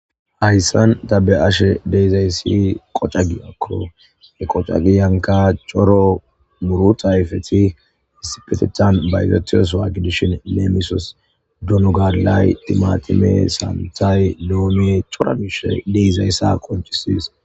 hayssan ta be ashe deizayssi qoca giakko he qoca giyanka coro muru tayfeti isipetetan bayzatiyos waagidishin leemisos dunogalay timatime saanthay doomie cora mishe deizayssa konchisis